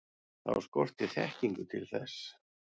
Þá skortir þekkingu til þess.